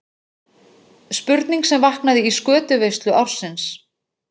Spurning sem vaknaði í skötuveislu ársins.